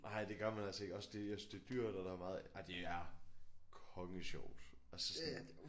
Nej det gør man altså ikke også det jeg synes det er dyrt og der er meget ej det er konge sjovt altså sådan